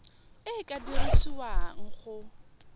e e ka dirisiwang go